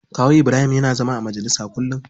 Kawu Ibrahim yana zama a majalisa kullum.